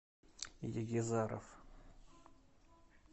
егизаров